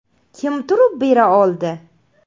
Kim turib bera oldi?